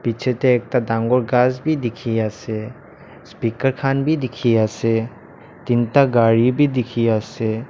piche tey ekta dangor ghas bhi dikhi ase speaker khan bhi dikhi ase tinta gari bhi dikhi ase.